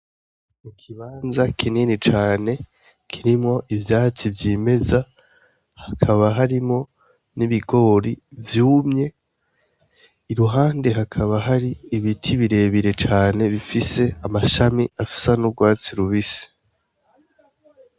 Ikibanza kinini cane kirimwo ivyatsi vyimeza hakaba harimwo n' ibigori vyumye iruhande hakaba hari ibiti bire bire cane bifise amashami asa n' ugwatsi rubisi.